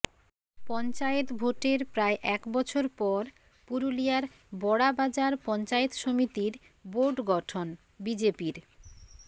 পঞ্চায়েত ভোটের প্রায় এক বছর পর পুরুলিয়ার বড়াবাজার পঞ্চায়েত সমিতির বোর্ড গঠন বিজেপির